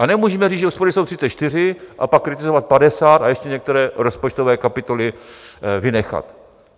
A nemůžeme říct, že úspory jsou 34, a pak kritizovat 50 a ještě některé rozpočtové kapitoly vynechat.